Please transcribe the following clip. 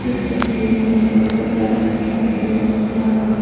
इस तस्वीर में मुझे बहुत सारा इंसान लोग दिखाई दे रहा है।